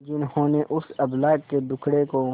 जिन्होंने उस अबला के दुखड़े को